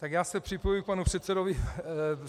Tak já se připojuji k panu předsedovi.